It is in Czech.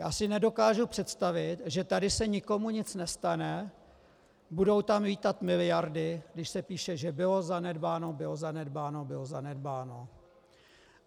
Já si nedokážu představit, že tady se nikomu nic nestane, budou tam lítat miliardy, když se píše, že bylo zanedbáno, bylo zanedbáno, bylo zanedbáno.